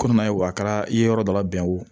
Komi n'a ye wa kɛra i ye yɔrɔ dɔ labɛn wo